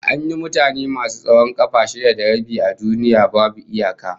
An yi mutane masu tsawon kafa shida da rabi a duniya babu iyaka